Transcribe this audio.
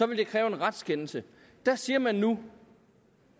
ville kræve en retskendelse der siger man nu